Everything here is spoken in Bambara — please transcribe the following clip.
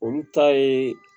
Olu ta ye